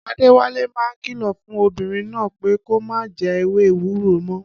Adéwálé máa kìlọ̀ fún obìnrin náà pé kó má jẹ ewé ewúro mọ́